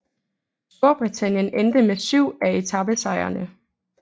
Storbritannien endte med syv af etapesejrene